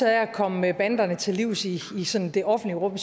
af at komme banderne til livs i det offentlige rum